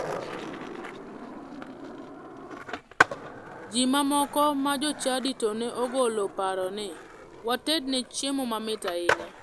Ji ma moko ma jochadi to ne ogolo paro ni watedne chiemo mamit ahinya.